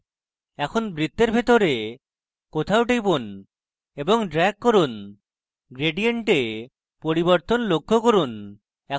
এখন বৃত্তের ভিতরে কোথাও টিপুন এবং drag করুন gradient এ পরিবর্তন লক্ষ্য করুন